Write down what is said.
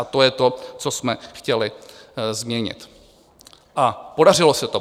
A to je to, co jsme chtěli změnit, a podařilo se to.